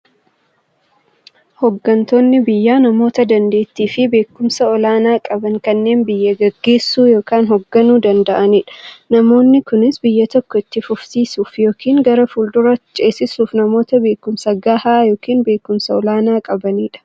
Hooggantoonni biyyaa namoota daanteettiifi beekumsa olaanaa qaban, kanneen biyya gaggeessuu yookiin hoogganuu danda'aniidha. Namoonni kunis, biyya tokko itti fufsiisuuf yookiin gara fuulduraatti ceesisuuf, namoota beekumsa gahaa yookiin beekumsa olaanaa qabaniidha.